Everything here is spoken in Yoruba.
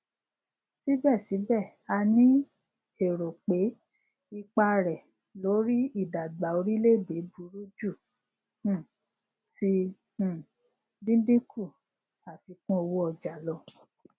sibesibe a ni ero pe pe ipa re lori idagba orileede buru ju um ti um dindinku afikunowooja lo